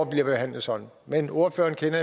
bliver behandlet sådan men ordføreren kender